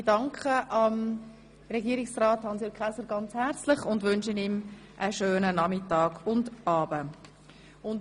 Ich danke Herrn Regierungsrat Käser herzlich und wünsche ihm einen schönen Nachmittag und Abend.